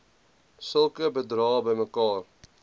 sulke bedrae bymekaar